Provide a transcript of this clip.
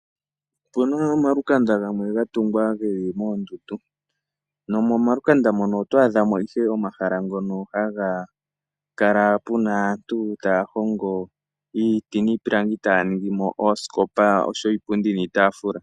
Opu na omalukanda gamwe ga tungwa ge li moondundu nomomalukanda mono oto adha mo ihe omahala ngono haga kala pu na aantu taya hongo iiti niipilangi taya ningi mo oosikopa osho wo iipundi niitaafula.